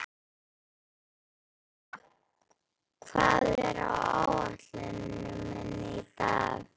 Eufemía, hvað er á áætluninni minni í dag?